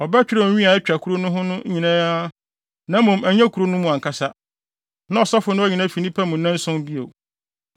ɔbɛtwerɛw nwi a atwa kuru no ho ahyia nyinaa (na mmom ɛnyɛ kuru no mu ankasa) na ɔsɔfo no ayi no afi nnipa mu nnanson bio.